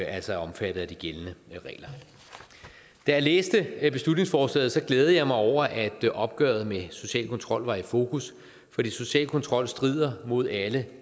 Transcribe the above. altså er omfattet af de gældende regler da jeg læste beslutningsforslaget glædede jeg mig over at opgøret med social kontrol var i fokus fordi social kontrol strider mod alle